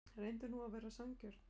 Reyndu nú að vera sanngjörn.